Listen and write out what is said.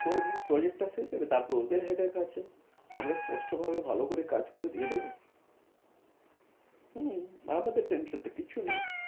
করবো, project টা শেষ হবে তারপর ওদের headache আছে আমরা স্পষ্ট ভাবে ভালো করে দিয়ে যাবো হম আমাদের tension তো কিচ্ছু নেই